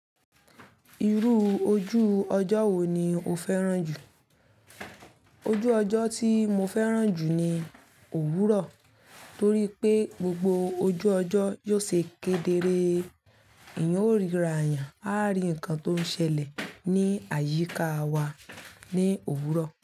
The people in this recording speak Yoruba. Irú ojú ọjọ́ wo ni o fẹ́ràn jù? Ojú ọjọ́ tí mo fẹ́ràn jù ni òwúrọ̀. Torí pé gbogbo ojú ọjọ́ yóò ṣe kedere. Èèyàn ó ríra èèyàn, á rí nǹkan tó ń ṣẹlẹ̀ ní àyíká wa ní òwúrọ̀